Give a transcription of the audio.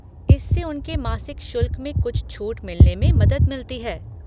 इससे उनके मासिक शुल्क में कुछ छूट मिलने में मदद मिलती है।